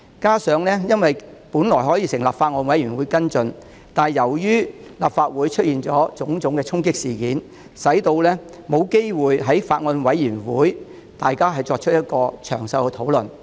再者，我們本可成立法案委員會跟進，但由於立法會出現種種衝擊事件，令議員沒有機會在法案委員會詳細討論法例修訂。